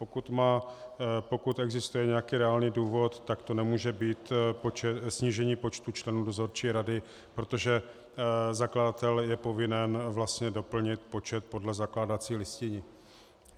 Pokud existuje nějaký reálný důvod, tak to nemůže být snížení počtu členů dozorčí rady, protože zakladatel je povinen vlastně doplnit počet podle zakládací listiny.